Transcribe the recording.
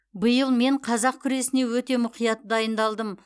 биыл мен қазақ күресіне өте мұқият дайындалдым